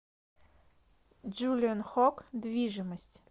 джулиан хок движимость